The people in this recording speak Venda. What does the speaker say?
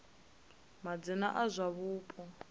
madzina a zwa divhavhupo ya